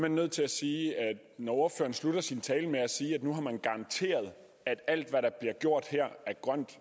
nødt til at sige at når ordføreren sluttede sin tale med at sige at nu har man garanteret at alt hvad der bliver gjort her er grønt